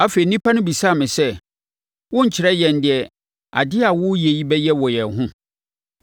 Afei nnipa no bisaa me sɛ, “Worenkyerɛ yɛn deɛ ade a woreyɛ yi bɛyɛ wɔn yɛn ho?”